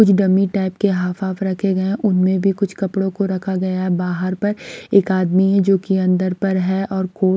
कुछ dummy type के half half रखे गए हैं उनमें भी कुछ कपड़ों को रखा गया है बाहर पर एक आदमी है जो कि अंदर पर है और को --